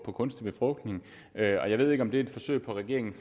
for kunstig befrugtning og jeg ved ikke om det er et forsøg fra regeringen